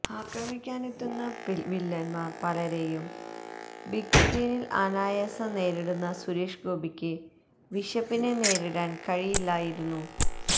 ആക്രമിക്കാനെത്തുന്ന വില്ലൻമാർ പലരേയും ബിഗ് സ്ക്രീനിൽ ്അനായാസം നേരിടുന്ന സുരേഷ് ഗോപിക്ക് വിശപ്പിനെ നേരിടാൻ കഴിയില്ലായിരുന്നു